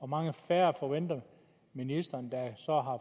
mange færre forventer ministeren der så har